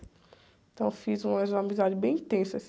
Então eu fiz umas amizades bem intensas.